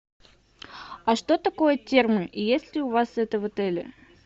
а что такое термы и есть ли у вас это в отеле